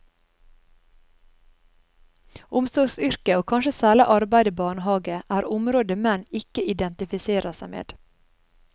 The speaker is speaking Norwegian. Omsorgsyrke, og kanskje særleg arbeid i barnehage, er område menn ikkje identifiserer seg med.